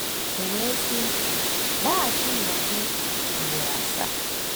O wee sị, ‘Laghachinụ azu,’ ugboro asaa. ”